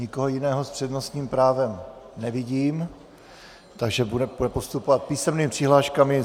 Nikoho jiného s přednostním právem nevidím, takže budeme postupovat písemnými přihláškami.